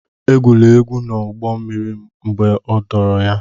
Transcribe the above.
Egwula egwu n'ụgbọ mmiri mgbe a dọwara ya!